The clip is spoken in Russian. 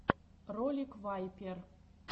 ролик вайпер